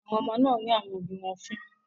Àwọn ọmọ náà rín àwọn òbí wọn fín.